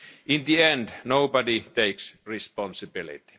In the end, nobody takes responsibility.